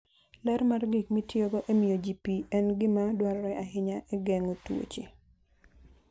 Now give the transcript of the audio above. Ler mar gik mitiyogo e miyo ji pi en gima dwarore ahinya e geng'o tuoche.